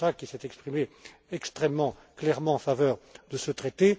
M. Kósa, qui s'est exprimé extrêmement clairement en faveur de ce traité.